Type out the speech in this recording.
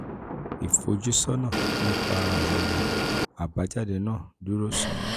ìfojúsọ́nà nípa ìfojúsọ́nà nípa àwọn àbájáde náà dúró sán-ún.